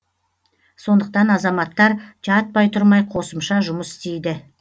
сондықтан азаматтар жатпай тұрмай қосымша жұмыс істейді